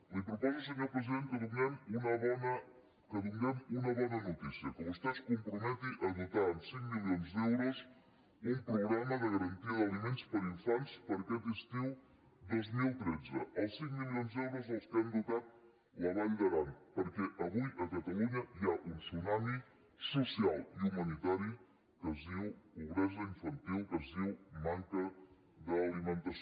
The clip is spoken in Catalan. li proposo senyor president que donem una bona notícia que vostè es comprometi a dotar amb cinc milions d’euros un programa de garantia d’aliments per a infants per a aquest estiu dos mil tretze els cinc milions d’euros amb què han dotat la vall d’aran perquè avui a catalunya hi ha un tsunami social i humanitari que es diu pobresa infantil que es diu manca d’alimentació